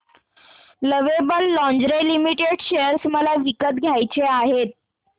lovable lingerie limited share मला विकत घ्यायचे आहेत